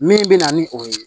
Min bɛ na ni o ye